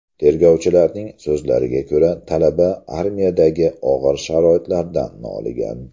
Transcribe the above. Tergovchilarning so‘zlariga ko‘ra, talaba armiyadagi og‘ir sharoitlardan noligan.